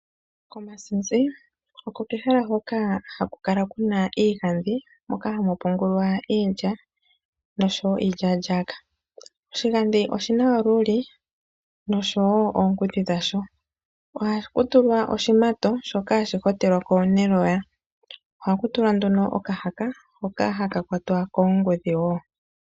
Komasinzi oko kehala hoka haku kala kuna iigadhi moka hamu pungulwa iilya noshowo iilyalyaka . Oshi gadhi oshina olulii noshowo oongudhi dhasho . Ohaku tulwa oshimato shoka hashi hotekwa lwako neloya . Ohaku tulwa nduno okahaka hoka kwatwa koongudhi wo.